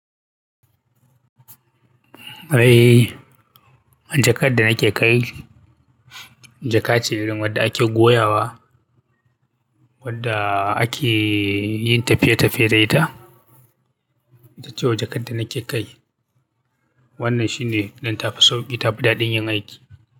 Eh, jakar da nake kai jaka ce irin wadda ake goyawa wadda ake yin tafiye-tafiye da ita, itace wajen jakar da nake kai wannan shine don tafi sauƙi ta fi daɗin yin aiki.